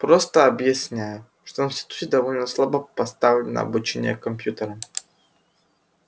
просто объясняю что в институте довольно слабо поставлено обучение компьютерам